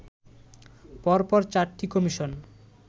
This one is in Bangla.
পর পর চারটি কমিশন